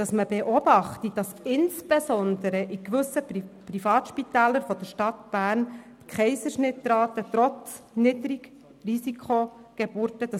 Er sagt, es werde beobachtet, dass insbesondere in gewissen Privatspitälern der Stadt Bern die Rate der Kaiserschnitte hoch sei, und das trotz Niedrigrisikogeburten.